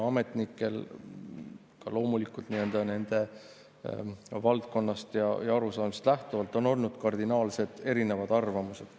Ametnikel on – loomulikult, nende valdkonnast ja arusaamistest lähtuvalt – kardinaalselt erinevad arvamused.